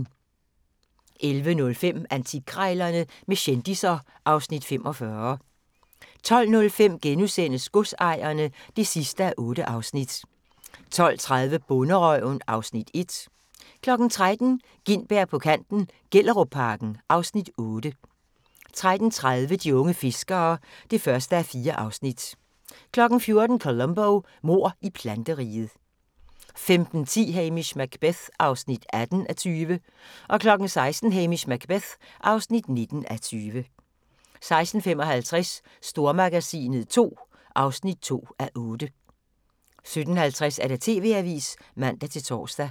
11:05: Antikkrejlerne med kendisser (Afs. 45) 12:05: Godsejerne (8:8)* 12:30: Bonderøven (Afs. 1) 13:00: Gintberg på kanten - Gellerupparken (Afs. 8) 13:30: De unge fiskere (1:4) 14:00: Columbo: Mord i planteriget 15:10: Hamish Macbeth (18:20) 16:00: Hamish Macbeth (19:20) 16:55: Stormagasinet II (2:8) 17:50: TV-avisen (man-tor)